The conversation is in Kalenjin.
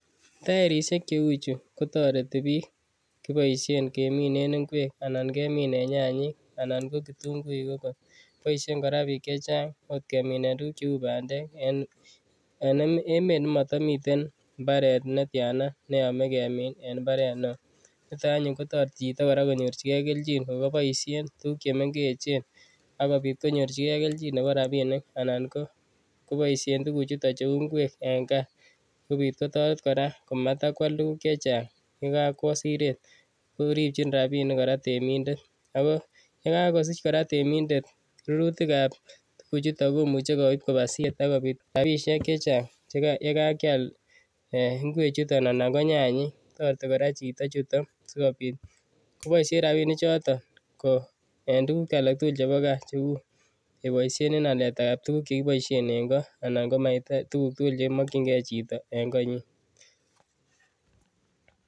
Taerisiek che uchu kotoreti biik. Kiboisien keminen ingwek anan keminen nyanyik anan ko kitunguik ogot. Boisien kora biik che chang otkeminen tuguk cheu bandek, en emet nematamiten mbaret netiana neyome kemin en mbaret neo. Nito anyun kotoreti chito konyorchigei keljin ago boisien tuguk chemengechen agopit konyorchige keljin nebo rapinik anan koboisien tuguchuto cheu ngwek en kaa sigopit kotaret kora matakwal tuguk che chang. Ye kakwo siret koripchin rapinik kora temindet ago ye kagosich kora temindet rurutikab tuguchuto komuche koip koba siret ak koik rapinik che chang ye kakial ingwe chuto anan ko nyanyik. Toreti kora chito chuton sigopit koboisien rapinichoto eng tuguk alak tugul chebo kaa cheu koboisien en aletab tuguk che kiboisien eng ko anan ko tuguk tugul chemokyinge chito eng konyin.